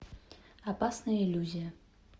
опасная иллюзия